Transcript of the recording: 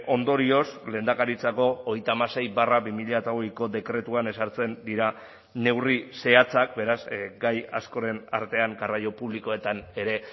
ondorioz lehendakaritzako hogeita hamasei barra bi mila hogeiko dekretuan ezartzen dira neurri zehatzak beraz gai askoren artean garraio publikoetan ere